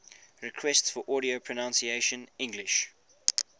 requests for audio pronunciation english